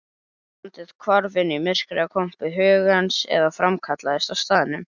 Landið hvarf inn í myrkrakompu hugans eða framkallaðist á staðnum.